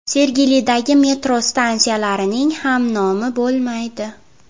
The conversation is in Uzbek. Sergelidagi metro stansiyalarining ham nomi bo‘lmaydi.